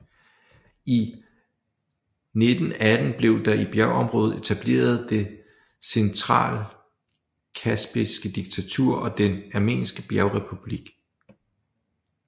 I 1918 blev der i området etableret det Centralkaspiske diktatur og Den armenske Bjergrepublik